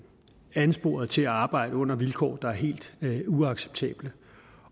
ansporet til at arbejde under vilkår der er helt uacceptable